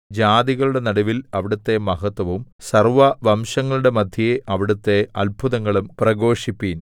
ജാതികളുടെ നടുവിൽ അവിടുത്തെ മഹത്വവും സർവ്വവംശങ്ങളുടെയും മദ്ധ്യേ അവിടുത്തെ അത്ഭുതങ്ങളും പ്രഘോഷിപ്പിൻ